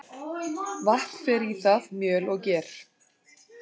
Vatn fer í það, mjöl og ger.